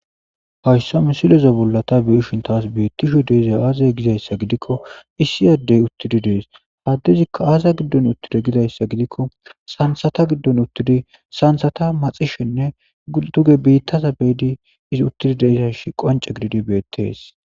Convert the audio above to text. Hayssa missileza bolla ta beishin tas bettishe deizay azze gizayssa giddikko issi adey uttidi des ha addezikka azza giddon uttide gizayssa gidikko sanththata giddon uttidi sanththata maxxishshenne dugge biittaza beidi izzi uttidi deizayssi qonccidi bettes.